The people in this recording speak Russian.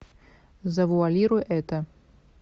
завуалируй это